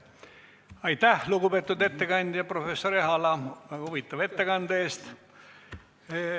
Aitäh, lugupeetud ettekandja, professor Ehala, väga huvitava ettekande eest!